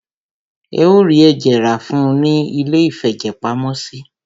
Ẹ o rí ẹ̀jẹ̀ rá fún ùn ní iléìfẹ̀jẹ̀pamọ́sí.